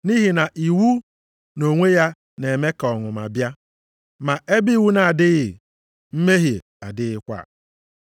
Nʼihi na iwu nʼonwe ya na-eme ka ọnụma bịa. Ma ebe iwu na-adịghị, mmehie adịghịkwa.